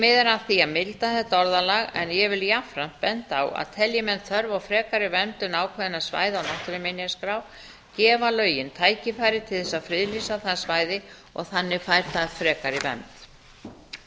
því að milda þetta orðalag en ég vil jafnframt benda á að telji menn þörf á frekari verndun ákveðinna svæða á náttúruminjaskrá gefa lögin tækifæri til þess að friðlýsa það svæði og þannig fær það frekari vernd